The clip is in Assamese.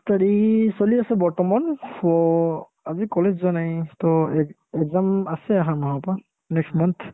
study চলি আছে বৰ্তমান ৱহ্ আজি কলেজ যোৱা নাই to example ~ exam আছে আহা মাহৰ পৰা next month